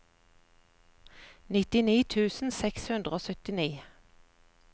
nittini tusen seks hundre og syttini